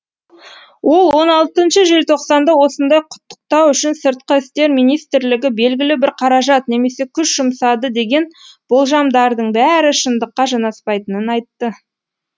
ол он алтыншы желтоқсанда осында құттықтау үшін сыртқы істер министрлігі белгілі бір қаражат немесе күш жұмсады деген болжамдардың бәрі шындыққа жанаспайтынын айтты